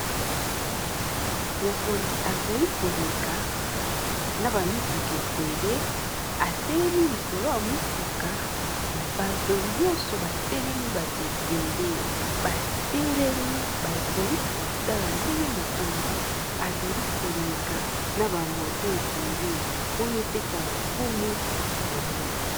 Mokonzi azali koleka na ba mituka ebele atelemi likolo ya motuka bato nyonso batelemi bato ebele batelemi bazali kotala ndenge mokonzi azali koleka na ba moto ebele pona epesa lokumu na mboka.